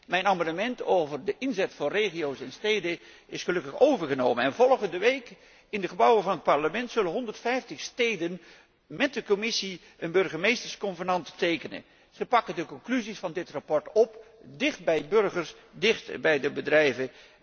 Mijn amendement over de inzet van regio's en steden is gelukkig overgenomen. Volgende week zullen in de gebouwen van het Parlement 150 steden met de Commissie een burgemeestersconvenant tekenen. Zij pakken de conclusies van dit verslag op, dichtbij burgers en dichtbij de bedrijven.